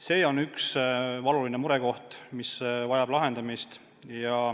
See on valuline murekoht, mis vajab lahendamist.